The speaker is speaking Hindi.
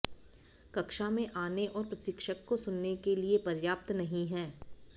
कक्षा में आने और प्रशिक्षक को सुनने के लिए पर्याप्त नहीं है